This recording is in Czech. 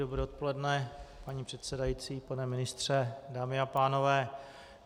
Dobré odpoledne, paní předsedající, pane ministře, dámy a pánové.